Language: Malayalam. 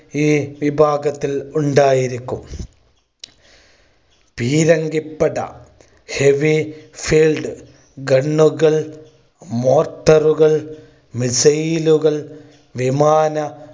ഈ വിഭാഗത്തിൽ ഉണ്ടായിരിക്കും പീരങ്കിപ്പട Heavy Field Gun കൾ motor ഉകൾ missile കൾ വിമാന